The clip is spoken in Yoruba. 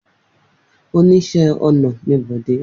Oníṣẹ́ ọnà ni Bọ̀dé.